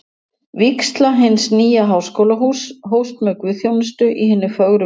Vígsla hins nýja Háskólahúss hófst með guðsþjónustu í hinni fögru kapellu